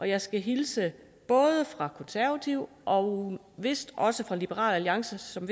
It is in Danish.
jeg skal hilse fra konservative og vist også fra liberal alliance som